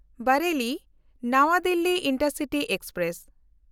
ᱵᱟᱨᱮᱞᱤ–ᱱᱟᱣᱟ Delhi intercity express